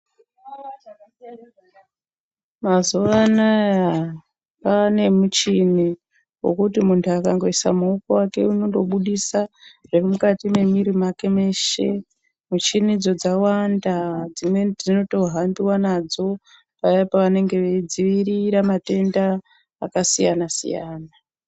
Mazuwanaya kwane muchini wekut muntu akangoisa maoko ake unondobudisq zviri mukati mwemiri wake weshe. Muchinidzo dzawanda dzimweni dzinotohambiwa nadzo payani pavanenge veidzivirira matenda akasiyana siyana.